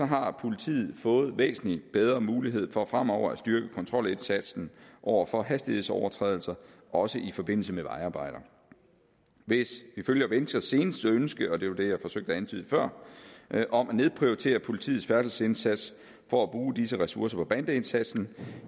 har politiet fået væsentlig bedre muligheder for fremover at styrke kontrolindsatsen over for hastighedsovertrædelser også i forbindelse med vejarbejder hvis vi følger venstres seneste ønske og det var det jeg forsøgte at antyde før om at nedprioritere politiets færdselsindsats for at bruge disse ressourcer på bandeindsatsen